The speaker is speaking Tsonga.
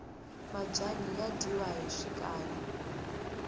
mabyanyi ya dyiwa hi swikari